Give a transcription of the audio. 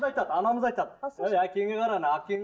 айтады анамыз айтады әй әкеңе қара әкең